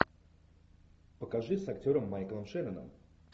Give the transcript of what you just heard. покажи с актером майклом шенноном